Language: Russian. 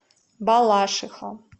балашиха